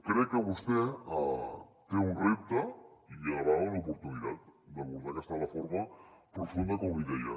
crec que vostè té un repte i a la vegada una oportunitat d’abordar aquesta reforma profunda com li deia